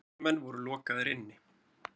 Fundarmenn voru lokaðir inni.